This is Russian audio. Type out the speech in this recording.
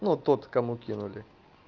ну вот тот кому кинули